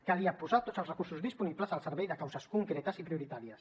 calia posar tots els recursos disponibles al servei de causes concretes i prioritàries